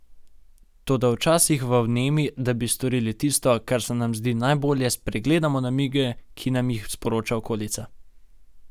Toda včasih v vnemi, da bi storili tisto, kar se nam zdi najbolje, spregledamo namige, ki nam jih sporoča okolica.